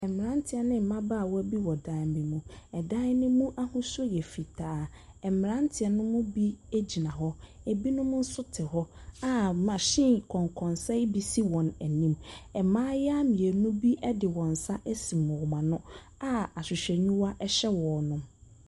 Mmeranteɛ ne mmabaawa bi wɔ dan bi mu. Ɛdan no mu ahosuo yɛ fitaa. Mmeranteɛ no mu bi gyina hɔ, ebinom nso te hɔ a machine kɔnkɔnsa yo bi si wɔn anim. Mmayewa mmienu bi de wɔn nsa asum wɔn ano a ahwehwɛniwa hyɛ wɔn.